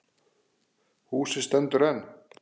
Húsið stendur enn.